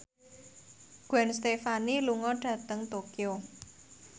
Gwen Stefani lunga dhateng Tokyo